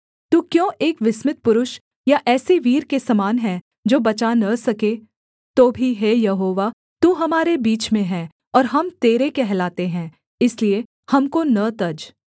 तू क्यों एक विस्मित पुरुष या ऐसे वीर के समान है जो बचा न सके तो भी हे यहोवा तू हमारे बीच में है और हम तेरे कहलाते हैं इसलिए हमको न तज